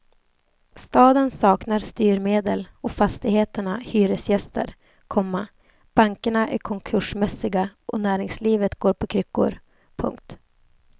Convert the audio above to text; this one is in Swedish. Staden saknar styrmedel och fastigheterna hyresgäster, komma bankerna är konkursmässiga och näringslivet går på kryckor. punkt